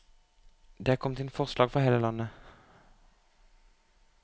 Det er kommet inn forslag fra hele landet.